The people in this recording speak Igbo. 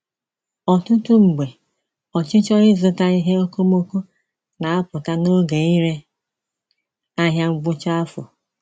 Ọtụtụ mgbe, ọchịchọ ịzụta ihe okomoko na-apụta n’oge ire ahịa ngwụcha afọ.